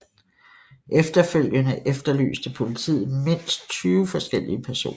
Efterfølgende efterlyste politiet mindst 20 forskellige personer